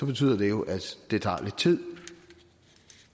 betyder det jo at det tager lidt tid